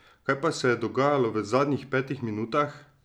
Kaj pa se je dogajalo v zadnjih petih minutah?